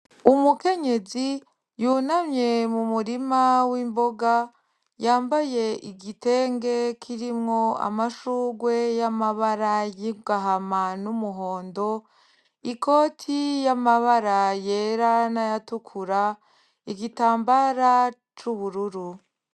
Umukenyezi yunamye mumurima w'imboga yambaye igitenge kirimwo amashurwe y'amabara y'agahama n'umuhondo, ikoti y'amabara yera nay'atukura igitambara c'ubururu